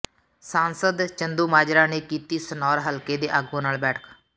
ਸਾਂਸਦ ਚੰਦੂਮਾਜਰਾ ਨੇ ਕੀਤੀ ਸਨੌਰ ਹਲਕੇ ਦੇ ਆਗੂਆਂ ਨਾਲ ਬੈਠਕ